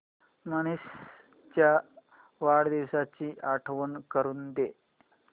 मनीष च्या वाढदिवसाची आठवण करून दे